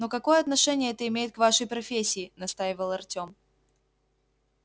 но какое отношение это имеет к вашей профессии настаивал артем